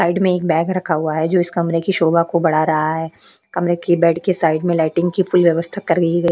Side में एक bag रखा हुआ है जो इस कमरे की शोभा को बड़ा रहा है कमरे की बेड की साइड में लाइटिंग की फुल व्यवस्था कर गई है।